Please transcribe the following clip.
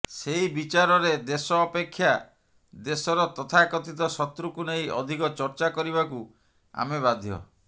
ସେଇ ବିଚାରରେ ଦେଶ ଅପେକ୍ଷା ଦେଶର ତଥାକଥିତ ଶତ୍ରୁକୁ ନେଇ ଅଧିକ ଚର୍ଚ୍ଚା କରିବାକୁ ଆମେ ବାଧ୍ୟ